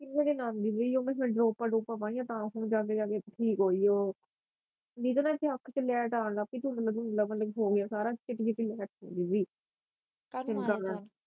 ਜਿਹੜੀ ਨਾਲ ਮਿਲੀ ਹੀ ਉਹ ਮੈ ਸ਼ਾਇਦ ਡਰੌਪਾ ਡਰੂਪਾ ਪਾਈਆ ਤਾ ਹੁਣ ਜਾ ਕੇ ਠੀਕ ਹੋਈ ਉਹ ਜਿਦੇ ਨਾਲ ਏਦੀ ਅੱਖ ਚ ਲੈੱਟ ਆਉਣ ਲਗ ਪਈ ਧੁੰਦਲਾ ਧੁੰਦਲਾਪਨ ਹੋਗਿਆ ਸਾਰਾ ਚਿੱਟੀ ਚਿੱਟੀ ਅੱਖ ਸੀ ਗੀ